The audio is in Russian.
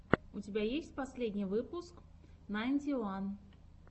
у тебя есть последний выпуск найнти уан